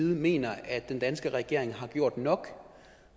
mener at den danske regering har gjort nok